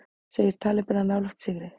Segir talibana nálægt sigri